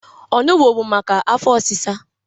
Onụgbọ bụ maka afọ ọsịsa.